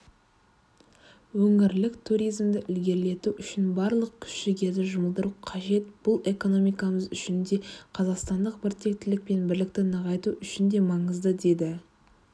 өңірлік туризмді ілгерілету үшін барлық күш-жігерді жұмылдыру қажет бұл экономикамыз үшін де қазақстандық біртектілік пен бірлікті нығайту үшін де маңызды деді